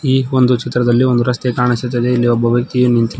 ಈ ಒಂದು ಚಿತ್ರದಲ್ಲಿ ಒಂದು ರಸ್ತೆ ಕಾಣಿಸುತ್ತದೆ ಇಲ್ಲಿ ಒಬ್ಬ ವ್ಯಕ್ತಿಯು ನಿಂತಿದ್ದಾ--